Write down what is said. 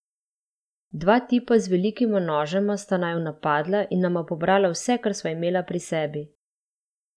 Dva tipa z velikima nožema sta naju napadla in nama pobrala vse, kar sva imeli pri sebi.